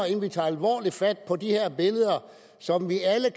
ikke vi tager alvorligt fat på de her billeder som vi alle